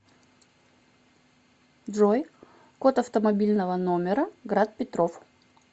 джой код автомобильного номера град петров